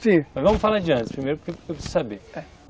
Sim, mas vamos falar de antes primeiro, porque porque eu preciso saber, é.